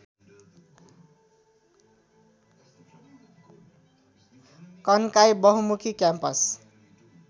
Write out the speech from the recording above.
कन्काई बहुमुखी क्याम्पस